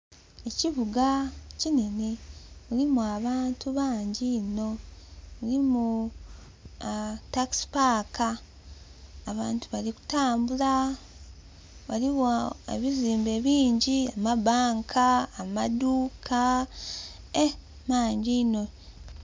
Ekibuga kinene mulimu abantu bangi inho mulimu takisi paaka. Abantu bali kutambula waliwo ebizimbe bingi amabanka amaduka ee mangi inho.